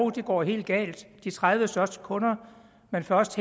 det går helt galt med de tredive største kunder man først